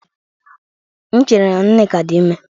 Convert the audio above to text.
M chere na Nneka dị ime